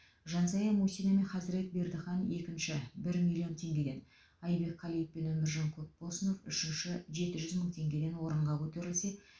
жансая мусина мен хазірет бердіхан екінші бір миллион теңгеден айбек қалиев пен өміржан көпбосынов үшінші жеті жүз мың теңгеден орынға көтерілсе